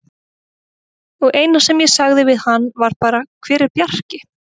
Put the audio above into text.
Og eina sem ég sagði við hann var bara: Hver er Bjarki?